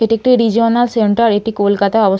এটি একটি regional centre. এটি কলকাতায় অবস --